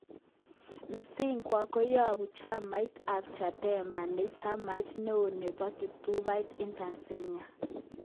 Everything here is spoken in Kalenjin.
Msingwa koyobu chamait ab Chadema ne chamait neo nebo kiptubatai eng Tanzania.